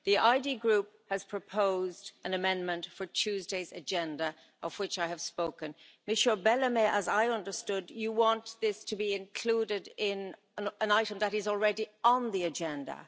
The ID Group has proposed an amendment for Tuesday's agenda, of which I have spoken. Mr Bellamy, as I understood, you want this to be included in an item that is already on the agenda.